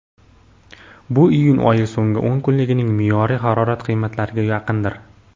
bu iyun oyi so‘nggi o‘n kunligining me’yoriy harorat qiymatlariga yaqindir.